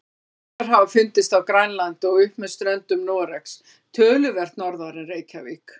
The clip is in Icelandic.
Rykmaurar hafa fundist á Grænlandi og upp með ströndum Noregs, töluvert norðar en Reykjavík.